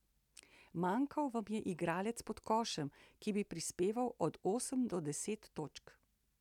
Manjkal vam je igralec pod košem, ki bi prispeval od osem do deset točk.